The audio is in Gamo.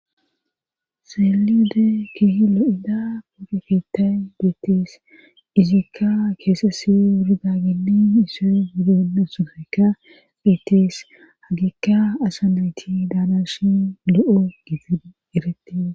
Xeelide keehi lo7ida poogeketay beettees izikka keesesi wurigaginni isey gudeenna sugaykka beettees hagikka asa nayti daanashin lo7o gif eretie